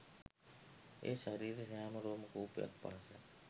එය ශරීරයේ සෑම රෝම කූපයක් පාසා